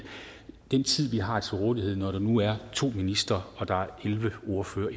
den tid vi har til rådighed når der nu er to ministre og der er elleve ordførere